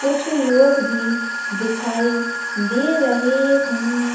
कुछ लोग भी दिखाई दे रहे हैं।